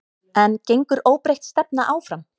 En gengur óbreytt stefna áfram?